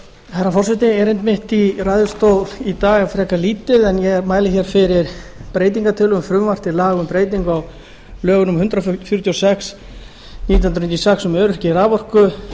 herra forseti erindi mitt í ræðustól í dag er frekar lítið en ég mæli hér fyrir breytingartillögum um frumvarp til laga um breytingu á lögum númer hundrað fjörutíu og sex nítján hundruð níutíu og sex um öryggi raforkuvirkja